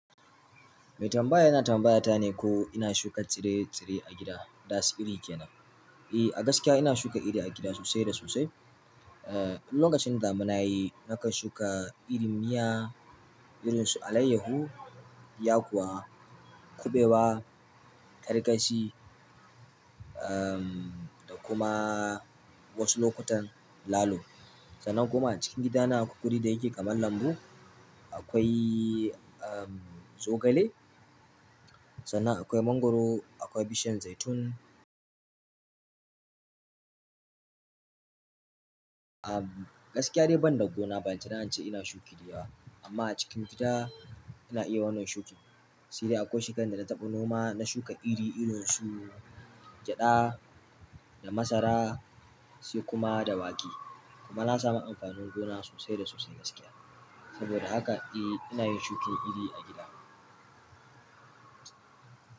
Mai tambaya yana tambaya ta ne ko ina shuka tsire-tsire a gida. Ta siri kenan. E, a gaskiya ina shuka iri a gida sosai da sosai. Eh, lokacin damuna yi, naka shuka iri miya irin su alayyahu, yakuwa, kuɓewa, karkashi, um, da kuma wasu lokutan lalo. Sannan kuma a cikin gidana akwai wuri da yake kamar lambu. Akwai, um, zogale. Sannan akwai mangwaro, akwai bishiyar zaitun. A gaskiya dai ban da gona, ban tuna ce ina shuki diyawa. Amma a cikin gida ina iya wannan shukin. Seide akwai shekara da na taɓa noma, na shuka iri irin su gyaɗa da masara sai kuma da wake. Kuma na sami amfanin gona sosai da sosai gaskiya. Soboda haka a in yin shuki iri a gida.